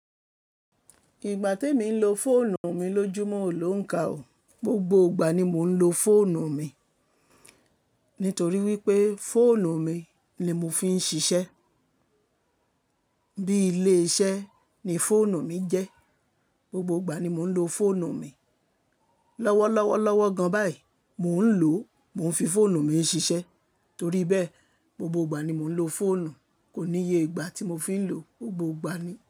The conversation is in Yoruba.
Ìgbà tí emi ń lo fóònù mi lójúmọ́, o ló ońkà ó. Gbogbo ìgbà ni mo ń lo fóònù mi, nítorí wípé fóònù mi ni mo fi ń ṣiṣẹ́. Bí ilé iṣẹ́ ni fóònù mi jẹ́. Gbogbo ìgbà ni mò ń lo fóònù mi. Lọ́wọ́lọ́wọ́ lọ́wọ́ gan báyìí mò ń lò ó, mò ń fi fóònù mi ń ṣiṣẹ́, torí bẹ́ẹ̀, gbogbo ìgbà ni mò ń lo fóònù. Kò níye ìgbà tí mo fi ń lò ó, gbogbo ìgbà ni.